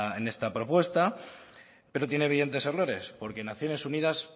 en esta propuesta pero tiene evidentes errores porque naciones unidas